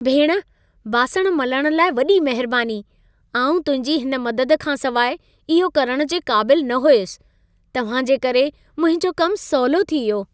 भेण, बासण मलण लाइ वॾी महिरबानी। आउं तुंहिंजी हिन मदद खां सिवाए, इहो करण जे क़ाबिलु न हुयसि। तव्हां जे करे मुंहिंजो कमु सवलो थी वियो।